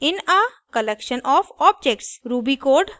for variable in a collection of objects